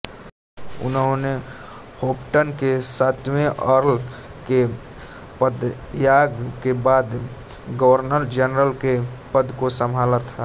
उन्होंने होपटन के सातवें अर्ल के पदत्याग के बाद गवर्नरजनरल के पद को संभाला था